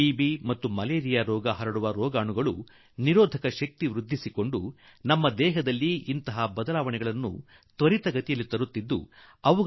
TB ಮತ್ತು malaria ಹಬ್ಬಿಸುವ ಜೀವಾಣುಗಳು ಎಷ್ಟು ವೇಗದಲ್ಲಿ ತಮ್ಮೊಳಗೆ ಬದಲಾವಣೆಗಳನ್ನು ತಂದುಕೊಳ್ಳುತ್ತವೆ ಎಂದರೆ ಅವುಗ